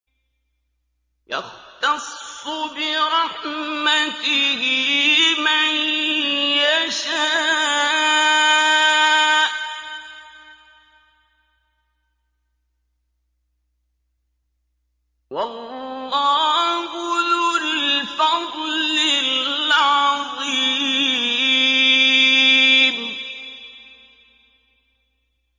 يَخْتَصُّ بِرَحْمَتِهِ مَن يَشَاءُ ۗ وَاللَّهُ ذُو الْفَضْلِ الْعَظِيمِ